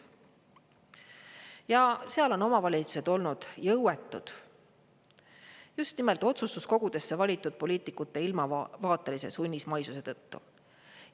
Ja seal on omavalitsused olnud jõuetud just nimelt otsustuskogudesse valitud poliitikute ilmavaatelise sunnismaisuse tõttu.